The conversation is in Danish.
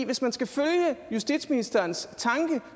hvis man skal følge justitsministerens tanke